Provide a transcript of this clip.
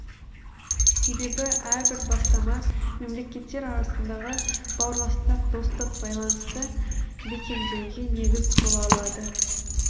себебі әрбір бастама мемлекеттер арасындағы бауырластық достық байлынысты бекемдеуге негіз бола алады